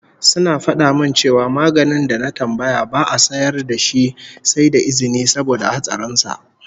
Suna fada min cewa maganin da na tambaya ba'a sayar da shi sai da izini saboda hatsarin sa